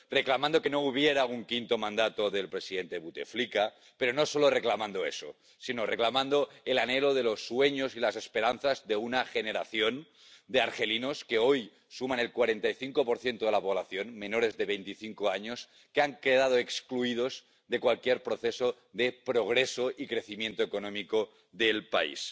Reclamando que no hubiera un quinto mandato del presidente Buteflika, pero no solo reclamando eso, sino reclamando el anhelo de los sueños y las esperanzas de una generación de argelinos que hoy suman el 45 de la población, menores de veinticinco años que han quedado excluidos de cualquier proceso de progreso y crecimiento económico del país.